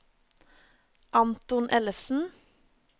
Anton Ellefsen